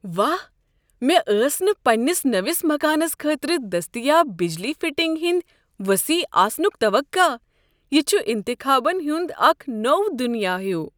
واہ ، مےٚ ٲس نہٕ پنٛنس نٔوس مکانس خٲطرٕ دستیاب بجلی فِٹِنگ ہندِ وصیح آسنُک توقع، یہ چھ انتخابن ہُنٛد اکھ نوٚو دُنیاہ ہِیُو۔